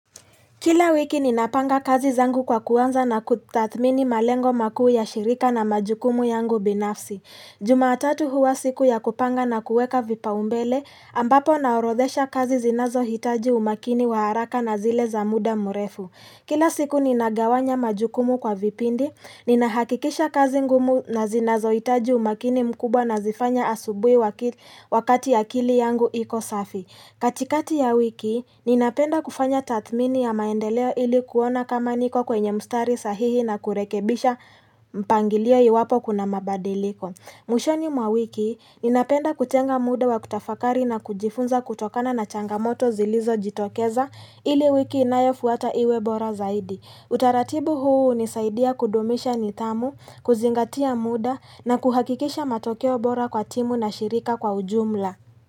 Kila wiki ninapanga kazi zangu kwa kuanza na kutathmini malengo makuu ya shirika na majukumu yangu binafsi. Jumatatu huwa siku ya kupanga na kueka vipaumbele, ambapo naorodhesha kazi zinazohitaji umakini wa haraka na zile za muda mrefu. Kila siku ninagawanya majukumu kwa vipindi, ninahakikisha kazi ngumu na zinazo hitaji umakini mkubwa nazifanya asubuhi wakati ya akili yangu iko safi. Katikati ya wiki, ninapenda kufanya tathmini ya maendeleo ili kuona kama niko kwenye mstari sahihi na kurekebisha mpangilio iwapo kuna mabadiliko. Mwishoni mwa wiki, ninapenda kutenga muda wa kutafakari na kujifunza kutokana na changamoto zilizo jitokeza ili wiki inayofuata iwe bora zaidi. Utaratibu huu hunisaidia kudumisha nidhamu, kuzingatia muda na kuhakikisha matokeo bora kwa timu na shirika kwa ujumla.